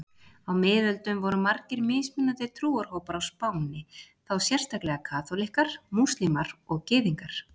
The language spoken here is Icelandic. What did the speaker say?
Á miðöldum voru margir mismunandi trúarhópar á Spáni, þá sérstaklega kaþólikkar, múslímar og gyðingar.